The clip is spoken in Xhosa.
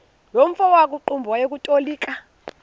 nomfo wakuqumbu owayetolika